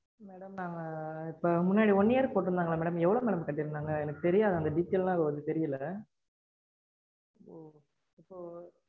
நாங்க இப்போ முன்னாடி போட்டிருந்தாங்கல்ல madam அது எவ்ளோ madam கட்டிருந்தாங்க. எனக்கு தெரியாது. அந்த detail லாம் தெரியல